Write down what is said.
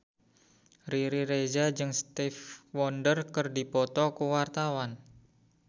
Riri Reza jeung Stevie Wonder keur dipoto ku wartawan